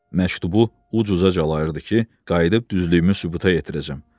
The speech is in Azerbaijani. Məktubu uc-uca calayırdı ki, qayıdıb düzlüyümü sübuta yetirəcəm.